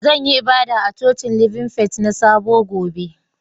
Zan yi ibada a cocin Living Faith na sabo gobe.